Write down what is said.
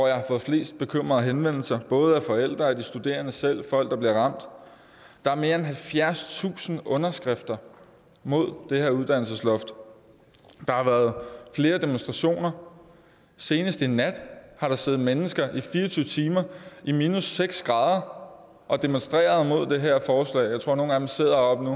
jeg har fået flest bekymrede henvendelser både af forældre og de studerende selv af folk der bliver ramt der er mere end halvfjerdstusind underskrifter mod det her uddannelsesloft der har været flere demonstrationer senest i nat har der siddet mennesker i fire og tyve timer i minus seks grader og demonstreret mod det her forslag jeg tror at nogle af dem sidder oppe